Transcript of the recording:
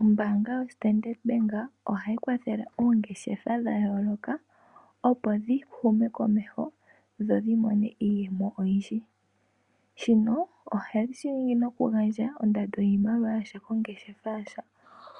Ombaanga yo Standard Bank ohayi kwathele oongeshefa dha yooloka opo dhi hume komeho dho dhi mone iiyemo oyindji. Shino ohayi shi ningi okugandja ondando yiimaliwa yasha kongeshefa yasha